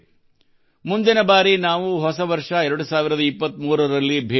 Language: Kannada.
ಮುಂದಿನಬಾರಿ ನಾವು ಹೊಸ ವರ್ಷ 2023 ರಲ್ಲಿ ಭೇಟಿಯಾಗೋಣ